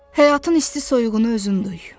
Həyatın isti-soyuğunu özün duy.